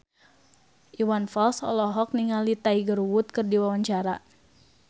Iwan Fals olohok ningali Tiger Wood keur diwawancara